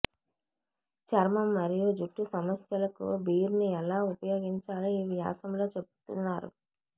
చర్మం మరియు జుట్టు సమస్యలకు బీర్ ని ఎలా ఉపయోగించాలో ఈ వ్యాసంలో చెప్పుతున్నాం